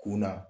Kunna